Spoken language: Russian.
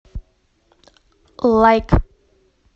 лайк